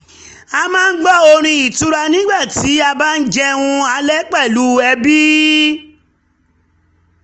a máa ń gbọ orin ìtura nígbà tí a bá jẹun alẹ́ pẹ̀lú ẹbí